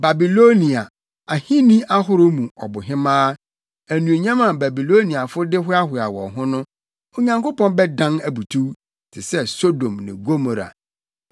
Babilonia, ahenni ahorow mu ɔbohemaa, anuonyam a Babiloniafo de hoahoa wɔn ho no Onyankopɔn bɛdan abutuw te sɛ Sodom ne Gomora.